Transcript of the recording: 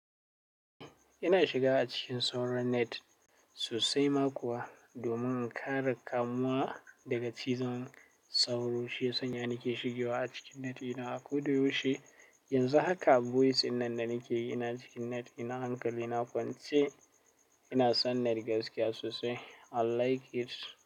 Ina shiga acikin sauran net sosai makuwa domin in kare kamuwa daga cizon sauro. Shi yasanya nake shigewa acikin net ina. Koda yaushe yanzu haka voice innan danakeyi ina cikin net ina hankalina kwance, ina son net gaskiya sosai. I like it.